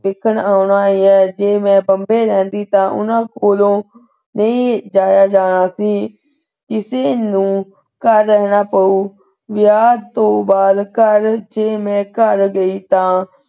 ਵੇਖਣ ਆਉਣਾ ਹੈ ਜੇ ਮੈਂ ਬੰਬੇ ਰਹਿੰਦੀ ਤਾਂ ਉਹਨਾਂ ਕੋਲੋਂ ਨਹੀਂ ਜਾਇਆ ਜਾਣਾ ਸੀ। ਕਿਸੇ ਨੂੰ ਘਰ ਰਹਿਣਾ ਪਊ । ਵਿਆਹ ਤੋਂ ਬਾਅਦ ਘਰ ਜੇ ਮੈਂ ਘਰ ਗਈ ਤਾਂ,